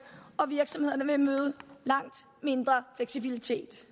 og virksomhederne vil møde langt mindre fleksibilitet